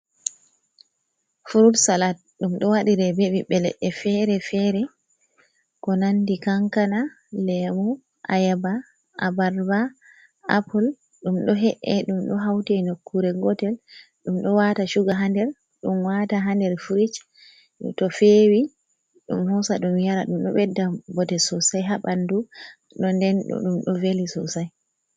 Furut salat, ɗum ɗo waɗire be ɓiɓɓe leɗɗe feere-feere, ko nanndi kankana, leemu, ayaaba, abarba, apul, ɗum ɗo he’e, ɗum ɗo hawte nokkuure gootel, ɗum ɗo waata cuga haa nder, ɗum waata haa nder firij, to feewi ɗum hoosa ɗum yara ɗum. Ɗo ɓedda bote soosay haa ɓanndu, bo nden ɗum ɗo veli soosay.